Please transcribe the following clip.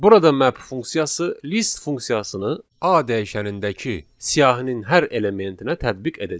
Burada map funksiyası list funksiyasını A dəyişənindəki siyahının hər elementinə tətbiq edəcək.